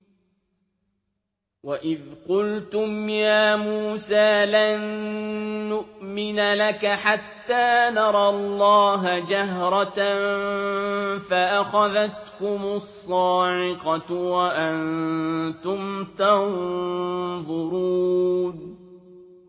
وَإِذْ قُلْتُمْ يَا مُوسَىٰ لَن نُّؤْمِنَ لَكَ حَتَّىٰ نَرَى اللَّهَ جَهْرَةً فَأَخَذَتْكُمُ الصَّاعِقَةُ وَأَنتُمْ تَنظُرُونَ